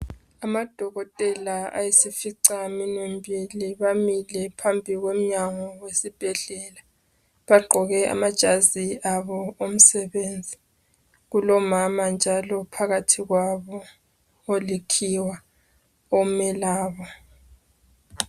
Amadokotela ayisifica minwe mbili bamile phambi komnyago wesibhedlela ,bagqoke amajazi abo omsebenzi. Kulomama njalo phakathi kwabo olikhiwa omelabo.